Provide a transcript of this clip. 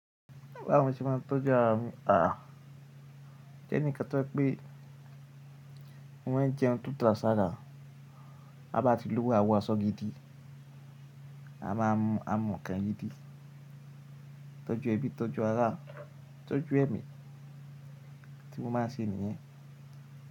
Báwo ṣe máa ń tọ́jú ara mi? Àà, jẹ́ ní kan tó jẹ pé mo máa ń jẹun tóda sí ara, a bá ti lúwó a wọ aṣọ gidi, a máa ń mu kàn gidi, tọ́jú ẹbí, tọ́jú ará, tọ́jú ẹ̀mí, tí mo máa ń ṣe nìyẹn.